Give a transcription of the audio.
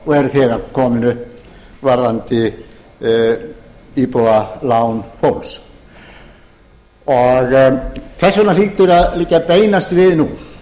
eru þegar komin upp varðandi íbúðalán fólks þess vegna hlýtur að liggja beinast við nú